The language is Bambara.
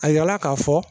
A yirala k'a fɔ